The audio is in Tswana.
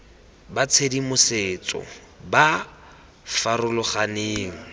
ba tshedimosetso ba ba farologaneng